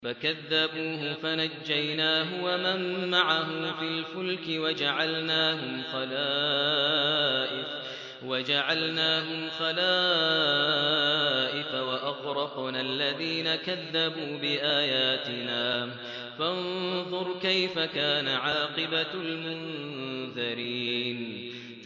فَكَذَّبُوهُ فَنَجَّيْنَاهُ وَمَن مَّعَهُ فِي الْفُلْكِ وَجَعَلْنَاهُمْ خَلَائِفَ وَأَغْرَقْنَا الَّذِينَ كَذَّبُوا بِآيَاتِنَا ۖ فَانظُرْ كَيْفَ كَانَ عَاقِبَةُ الْمُنذَرِينَ